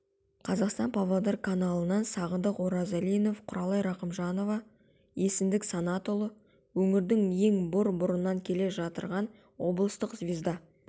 қазақстан-павлодар каналынан сағындык оразалинов құралай рахымжанова еснбек санатұлы өңірдің ең бұр бұрыннан келе жатырған облыстық звезда